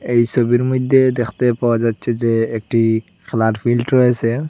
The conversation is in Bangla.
এই সোবির মইদ্যে দেখতে পাওয়া যাচ্চে যে একটি ফ্লাট ফিল্ট রয়েসে।